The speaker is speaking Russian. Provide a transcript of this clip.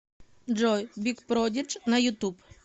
джой биг продидж на ютуб